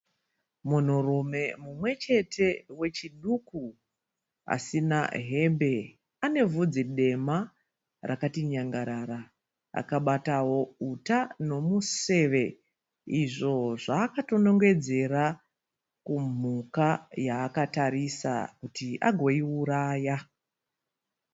Munhurume mumwe chete wechiduku asina hembe. Ane vhudzi dema rakati nyangarara. Akabatawo uta nomuseve izvo zvaakatonongedzera kumhuka yaakatarisa kuti agoiuraya.